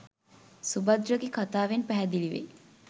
සුභද්‍රගේ කථාවෙන් පැහැදිලි වෙයි.